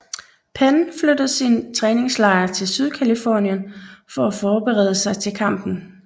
Penn flyttede sin træningslejr til Sydcalifornien for at forberede sig til kampen